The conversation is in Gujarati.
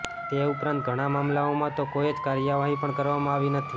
તે ઉપરાંત ઘણા મામલાઓમાં તો કોઈ જ કાર્યવાહી પણ કરવામાં આવી નથી